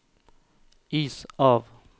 is av